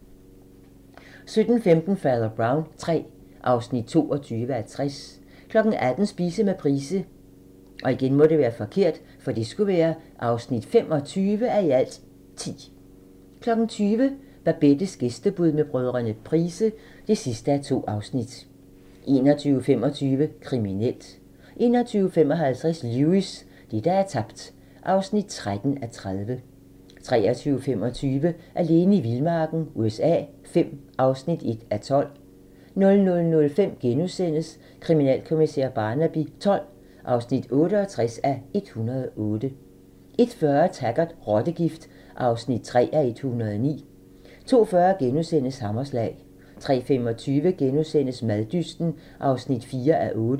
17:15: Fader Brown III (22:60) 18:00: Spise med Price (25:10) 20:00: Babettes gæstebud med brødrene Price (2:2) 21:25: Kriminelt 21:55: Lewis: Det, der er tabt (13:30) 23:25: Alene i vildmarken USA V (1:12) 00:05: Kriminalkommissær Barnaby XII (68:108)* 01:40: Taggart: Rottegift (3:109) 02:40: Hammerslag * 03:25: Maddysten (4:8)*